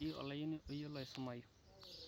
metii oloiuni eyiolo asumayu